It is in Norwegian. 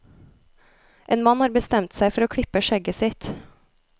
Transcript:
En mann har berstemt seg for å klippe skjegget sitt.